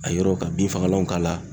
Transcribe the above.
A yɔrɔw ka bin fagalanw k'a la.